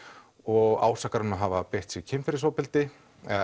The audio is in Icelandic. og ásakar hann um að hafa beitt sig kynferðisofbeldi